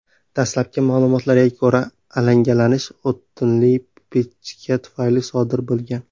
Dastlabki ma’lumotlarga ko‘ra, alangalanish o‘tinli pechka tufayli sodir bo‘lgan.